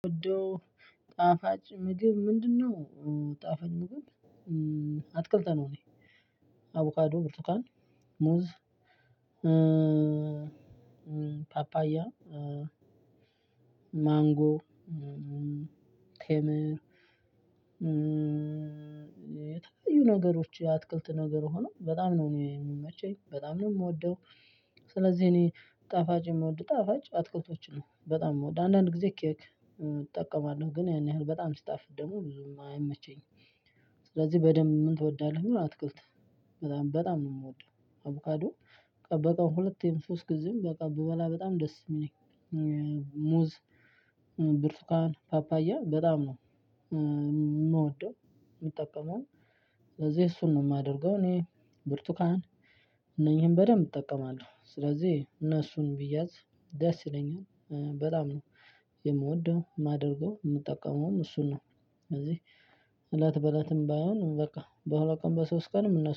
ጉዶ ጣፋጭ ምግብ ምንድነው? ጣፋጭ ምግብ አትክልት ነው። እኔ አቮካዶ ብርቱካን ሙዝ ፓፓያ ማንጎ ቴምር የተለያዩ ነገሮች የአትክልት ነገር ሆኖ በጣም ነው የሚመቸኝ በጣም ነው የምወደው። ስለዚህ እኔ ጣፋጭ የምወድ ጣፋጭ አትክልቶችን ነው በጣም የምወድ አንዳንድ ጊዜ ኬክ እጠቀማለሁ ግን ያን ያህል በጣም ስጣፍት ደግሞ ብዙም አይመቸኝም። ስለዚህ በደንብ እወዳለሁ አትክልት በጣም በጣም ነው የምወደው። አቮካዶ በቀን ሁለቴም ሶስት ጊዜም በቃ ብበላ በጣም ደስ ነው የሚለኝ። ሙዝ ብርቱካን ፓፓያ በጣም ነው። ምወደውም ምጠቀመው ለዚህ እሱን ነው ማደርገው። እኔ ቡርቱካን እነኚህን በደንብ እጠቀማለሁ። ስለዚህ እነሱን ቢአንስ ደስ ይለኛል በጣም የምወደው የማደርገው የምጠቀመውም እሱን ነው። ስለዚህ እለት በእለትም ባይሆን በቃ በሁለት ቀን በሶስት ቀንም እነሱ